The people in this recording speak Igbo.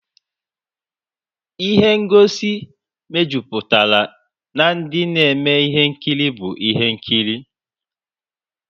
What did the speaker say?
Ịhe ngosi mejuputara na ndị na-eme ihe nkiri bụ ihe nkiri.